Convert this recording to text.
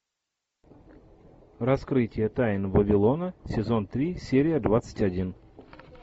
раскрытие тайн вавилона сезон три серия двадцать один